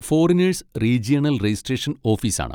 Foreigners regional registration ഓഫീസാണ്.